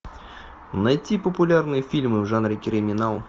найти популярные фильмы в жанре криминал